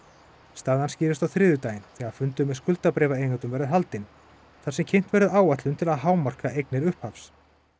staðan skýrist á þriðjudaginn þegar fundur með verður haldinn þar sem kynnt verður áætlun til að hámarka eignir upphafs